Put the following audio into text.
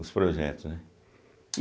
Os projetos, né?